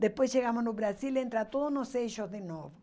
Depois chegamos no Brasil, entra todos nos eixos de novo.